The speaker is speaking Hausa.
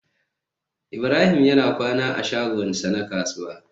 Ibrahim yana kwana a shagonsa na kasuwa